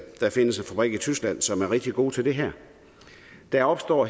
der findes en fabrik i tyskland som er rigtig gode til det her der opstår